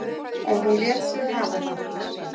En hún lét sig hafa það.